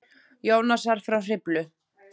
Jónasar frá Hriflu.